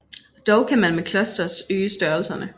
Dog kan man med clusters øge størrelserne